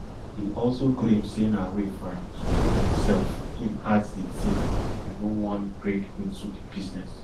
e also claim say na way for am to prove himself im ask di teen you no wan break into di business